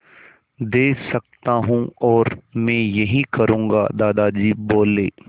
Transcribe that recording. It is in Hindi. दे सकता हूँ और मैं यही करूँगा दादाजी बोले